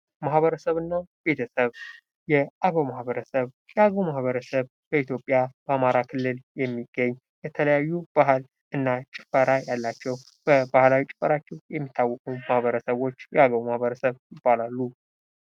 ማህበረሰብና ቤተሰብ፦ የአገው ማህበረሰብ ፦ የአገው ማህበረሰብ በኢትዮጵያ በአማራ ክልል የሚገኝ የተለያዩ ባህል እና ጭፈራ ያላቸው በባህላዊ ጭፈራቸው የሚታወቁ ማህበረሰቦች የአገው ማህበረሰብ ይባላሉ።